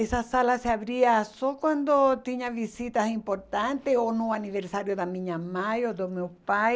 Essa sala se abria só quando tinha visitas importantes ou no aniversário da minha mãe ou do meu pai.